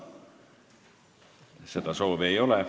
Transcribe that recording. Seda soovi ei ole.